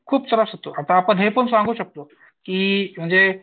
खूप त्रास होतो आता आपण हे पण सांगू शकतो. की म्हणजे